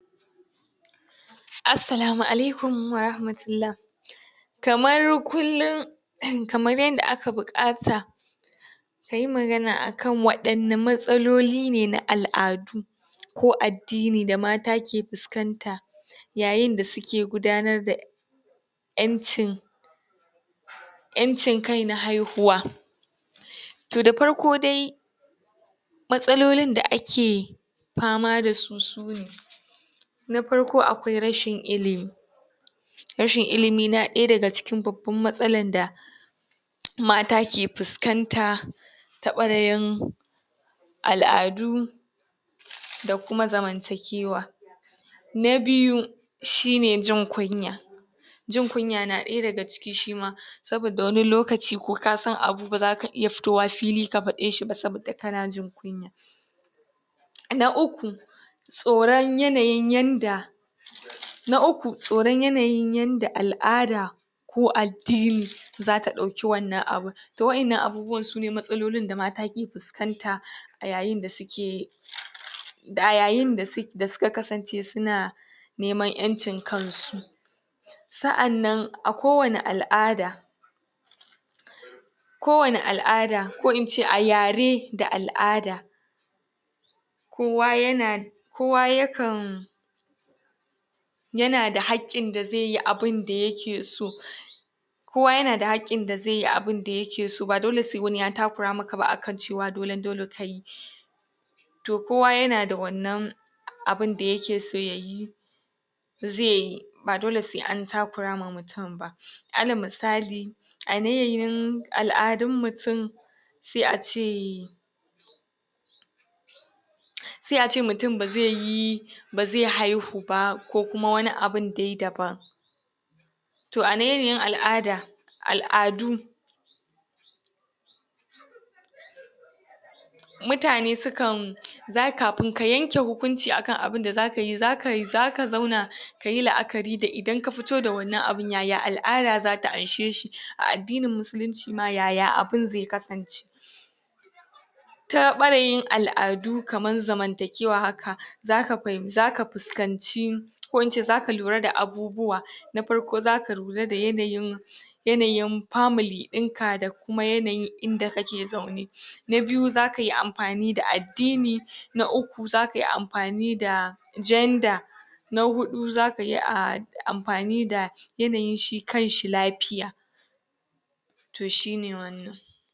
Assalamu Alaikum warahmatullah kamar kullum kamar yanda aka buƙata ka yi magana akan waɗanna matsaloli ne na al'adu ko addini da mata ke fuskanta yain da suke gudanar da ƴancin ƴancin kai na haihuwa to da farko dai matsalolin da ake fama da su sune na farko akwai rashin ilimi rashin ilimi na ɗaya daga cikin babban matsalan da mata ke fuskanta ta ɓarayin al'adu? da kuma zantakewa na biyu shine jin kunya jin kuya na ɗaya daga ciki shima saboda wani lokaci ko ka san abu ba za ka iya fitowa fili ka faɗeshi ba saboda kana jin kunya na uku tsoran yanayin yanda na uku tsoron yanayin yanda al'ada ko addini za ta ɗauki wannan abun to wa'inna abubuwan sune matsalolin da mata ke fuskanta a yayinda suke a yayin da su da suka kasance suna neman ƴancin kansu sa'annan a kowani al'ada kowani al'ada ko ince a yare da al'ada kowa yana kowa yakan yana da haƙƙin da zai yi abinda yake so kowa yana da haƙƙin da zai yi abinda yake so ba dole sai wani ya takura maka ba akan cewa dolen dole kai to kowa yana d wannan abinda yake so ya yi zai yi ba dole sai an takura wa mutum ba ala misali a yanayin al'adun mutum sai a ce sai a ce mutum ba zai yi ba zai haihu ba ko kuma wani wabun dai daban to a yanayin al'ada al'adu mutane sukan za kafin ka yanke hukunci akan abunda za kayi za kayi za ka zauna ka yi la'akari da idan ka fito da wannan abun yaya al'ada za ta ansheshi a addinin musulunci ma yaya abun zai kasance ta ɓarayin al'adu kaman zamantakewa haka za ka fahim za ka fuskanci ko in ce za ka lura da abubuwa na farko za ka lura da yanayin yanayin family ɓinka da kuma yanayin inda kake zaune na biyu za ka yi amfani da addini na uku za ka yi amfani da gender na huɗu za ka yi a amfani da yanayin shi kanshi lafiya to shi ne wannan